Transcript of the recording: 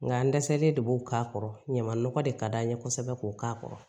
Nka n dɛsɛlen de b'o k'a kɔrɔ ɲama nɔgɔ de ka d'an ye kosɛbɛ k'o k'a kɔrɔ